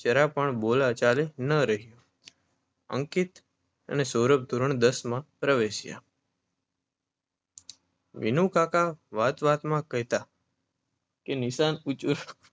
જરા પણ બોલા ચાલી ન રહી અંકિત અને સૌરભ ધોરણ દસમા પ્રવેશ્યા વિનુકાકા વાતવાતમાં કેહતા કે નિશાન ઉંચુ